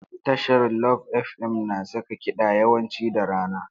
Tashar Love FM na saka kiɗa yawanci da rana.